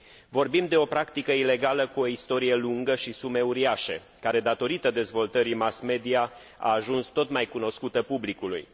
Vorbim de o practică ilegală, cu o istorie lungă și sume uriașe, care, datorită dezvoltării mass mediei, a ajuns tot mai cunoscută publicului.